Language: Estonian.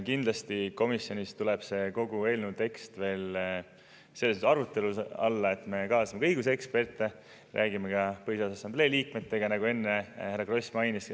Kindlasti tuleb komisjonis kogu eelnõu tekst veel arutelu alla, kuna me kaasame ka õiguseksperte, räägime ka Põhiseaduse Assamblee liikmetega, nagu enne härra Kross mainis.